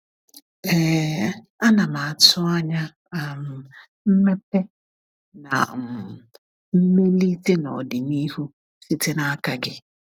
um Ana m atụ anya um mmepe na um mmelite n’ọdịnihu site n’aka ya.